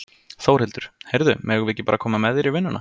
Þórhildur: Heyrðu, megum við ekki bara koma með þér í vinnuna?